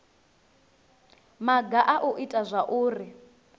maga a u ita zwauri